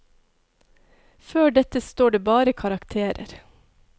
Før dette står det bare karakterer.